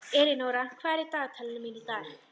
Elínóra, hvað er í dagatalinu mínu í dag?